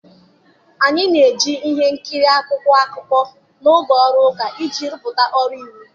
Anyị na-eji ihe nkiri akwụkwọ akụkọ n'oge ọrụ ụka iji rụpụta ọrụ iwu.